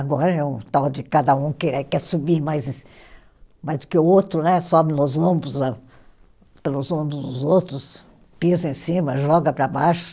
Agora é um tal de cada um quer quer subir mais, mais do que o outro né, sobe nos ombros a, pelos ombros dos outros, pisa em cima, joga para baixo.